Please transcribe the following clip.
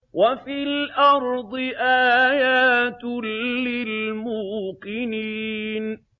وَفِي الْأَرْضِ آيَاتٌ لِّلْمُوقِنِينَ